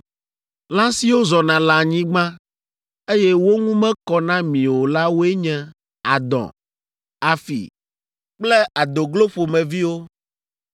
“ ‘Lã siwo zɔna le anyigba, eye wo ŋu mekɔ na mi o la woe nye, adɔ, afi kple adoglo ƒomeviwo,